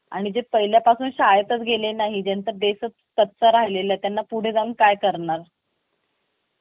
आणि जे पहिल्या पासून शाळेतच गेले नाही जेंचा base कच्चा राहिले त्यांना पुढे जाऊन काय करणार